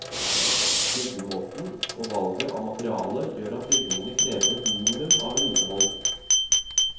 Byggemåten og valget av materiale gjør at bygningene krever et minimum av vedlikehold.